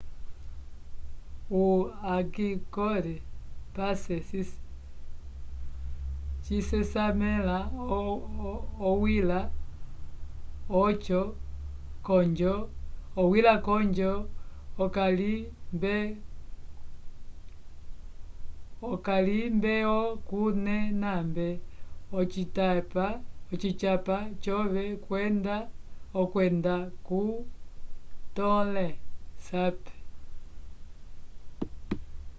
o angkor pass cisesamela owila konjo okalimbeokunenab ocityapa cove okwenda ko tonle sap